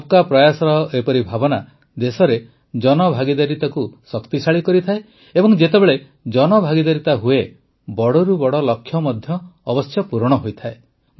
ସବକା ପ୍ରୟାସର ଏପରି ଭାବନା ଦେଶରେ ଜନଭାଗିଦାରିତାକୁ ଶକ୍ତିଶାଳୀ କରିଥାଏ ଏବଂ ଯେତେବେଳେ ଜନଭାଗିଦାରିତା ହୁଏ ବଡ଼ରୁ ବଡ଼ ଲକ୍ଷ୍ୟ ମଧ୍ୟ ଅବଶ୍ୟ ପୂରଣ ହୋଇଥାଏ